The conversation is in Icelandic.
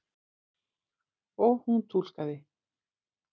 Og hún túlkaði.